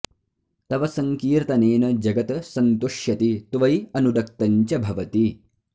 तव सङ्कीर्तनेन जगत् सन्तुष्यति त्वयि अनुरक्तं च भवति